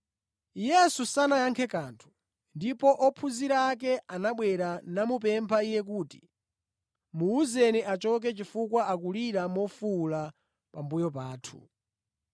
Yesu sanayankhe kanthu. Ndipo ophunzira ake anabwera namupempha Iye kuti, “Muwuzeni achoke chifukwa akulira mofuwula pambuyo pathu.”